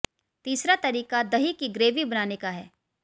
तीसरा तरीका दही की ग्रेवी बनाने का है